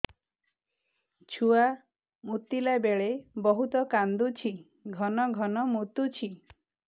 ଛୁଆ ମୁତିଲା ବେଳେ ବହୁତ କାନ୍ଦୁଛି ଘନ ଘନ ମୁତୁଛି